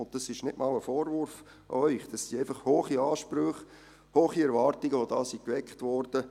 Dies ist nicht einmal ein Vorwurf an Sie, es sind einfach hohe Ansprüche und hohe Erwartungen, die geweckt wurden.